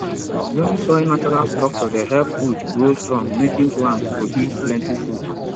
loamy soil natural structure dey help root grow strong making plants produce plenty food